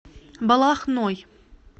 балахной